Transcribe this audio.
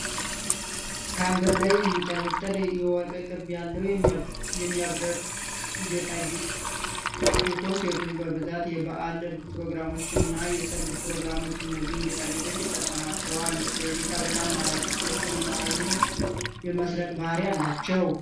ከአንገት ላይ የሚንጠለጠል የወርቅ ቅብ ያለው የሚያብረቅ ጌጣጌጥ ሲሆን ሴቶች በብዛት የበአል ፕሮግራሞችና የሰርግ ፕሮግራሞች እነዚህን ጌጣጌጦች ይጠቀማቸዋል ለ እይታ በጣም ማራኪ ስለሆኑ አይን የመሰረቅ ባህሪ አላቸው።